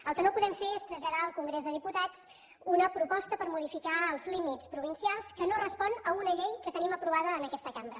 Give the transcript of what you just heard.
el que no podem fer és traslladar al congrés dels diputats una proposta per modificar els límits provincials que no respon a una llei que tenim aprovada en aquesta cambra